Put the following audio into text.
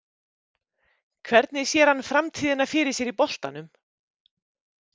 Hvernig sér hann framtíðina fyrir sér í boltanum?